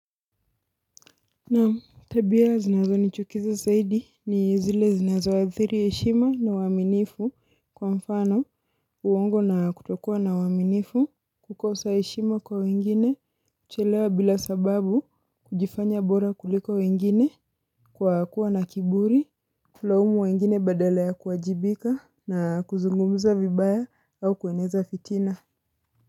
Naam tabia zinazo nichukiza zaidi ni zile zinazoadhiri heshima na uaminifu kwa mfano uongo na kutokua na uaminifu kukosa heshima kwa wengine kuchelewa bila sababu kujifanya bora kuliko wengine kwa kuwa na kiburi Kulaumu wengine badala ya kuajibika na kuzungumuza vibaya au kueneza fitina.